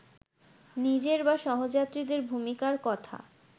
নিজের বা সহযাত্রীদের ভূমিকার কথা